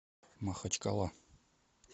махачкала